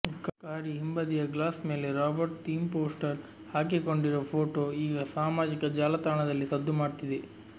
ಕಾರಿ ಹಿಂಬದಿಯ ಗ್ಲಾಸ್ ಮೇಲೆ ರಾಬರ್ಟ್ ಥೀಮ್ ಪೋಸ್ಟರ್ ಹಾಕಿಕೊಂಡಿರುವ ಫೋಟೋ ಈಗ ಸಾಮಾಜಿಕ ಜಾಲತಾಣದಲ್ಲಿ ಸದ್ದು ಮಾಡ್ತಿದೆ